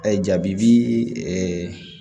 A ye jabi